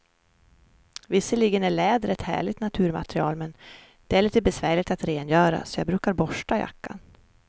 Visserligen är läder ett härligt naturmaterial, men det är lite besvärligt att rengöra, så jag brukar borsta jackan.